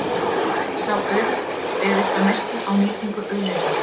Sá auður byggðist að mestu á nýtingu auðlinda.